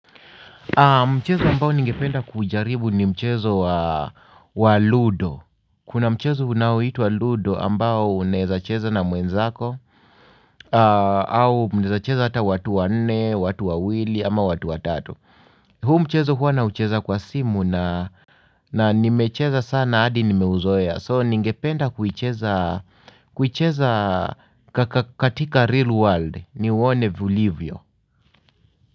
Mchezo ambao ningependa kuujaribu ni mchezo wa Ludo. Kuna mchezo unaoitwa Ludo ambao unaezacheza na mwenzako au mnaezacheza hata watu wanne, watu wawili ama watu watatu huu mchezo huwa naucheza kwa simu na nimecheza sana hadi nimeuzoea. So ningependa kuicheza katika real world niuone ulivyo.